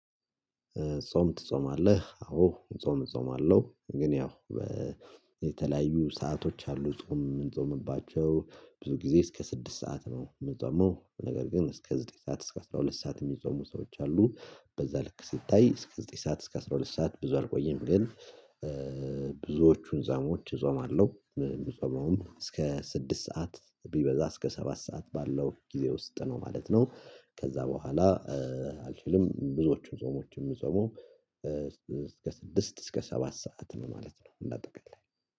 ጾም ትጾማለህ? አዎ። ጾም ጾም አለው ግን ያው የተለያዩ ሰአቶች አሉ። ጾም የምንጾምባቸው ብዙ ጊዜ እስከ ስድስት ሰዓት ነው የምጾመው። ነገር ግን እስከ ዘጠኝ ሰዓት እስከ አስራ ሁለት ሰዓት የሚጾሙ ሰዎች አሉ። በዛ ልክ ሲታይ እስከ ዘጠኝ ሰዓት እስከ አስራ ሁለት ሰዓት ብዙ አልቆየም ግን ብዙዎቹን ዛሞች እዞማለሁ። እስከ ስድስት ሰዓት ቢበዛ እስከ ሰባት ሰዓት ባለው ጊዜ ውስጥ ነው ማለት ነው። ከዛ በኋላ አልችልም። ብዙዎቹን ዞሞችን ዞሞ ጾሙ። እስከ ስድስት እስከ ሰባት ሰዓት ማለት ነው እና ጠቅላይ